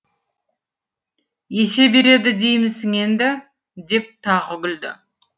есе береді деймісің енді деп тағы күлді